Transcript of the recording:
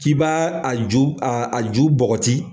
K'i b'a a ju , a ju bɔgɔti